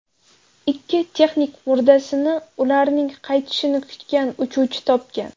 Ikki texnik murdasini ularning qaytishini kutgan uchuvchi topgan.